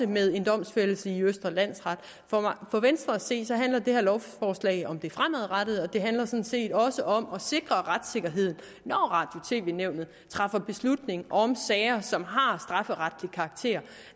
med en domfældelse i østre landsret for venstre at se handler det her lovforslag om det fremadrettede det handler sådan set også om at sikre retssikkerheden når radio og tv nævnet træffer beslutning om sager som har strafferetlig karakter